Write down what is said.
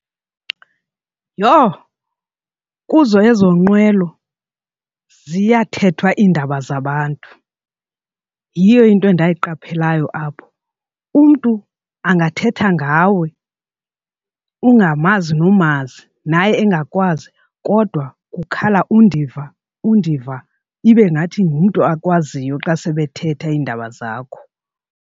Yho! Kuzo ezo nqwelo ziyathethwa iindaba zabantu. Yiyo into endayiqaphelayo apho. Umntu angathetha ngawe ungamazi nomazi naye engakwazi kodwa kukhala undiva undiva ibe ngathi ngumntu akwaziyo xa sebethetha iindaba zakho.